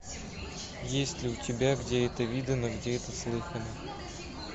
есть ли у тебя где это видано где это слыхано